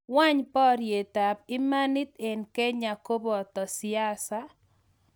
weny, parietap imanit en Kenya kopato siasa